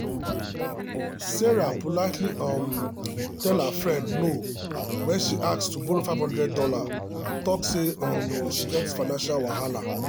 sarah politely um tell her friend no when she ask to borrow five hundred dollars talk say um she get financial wahala.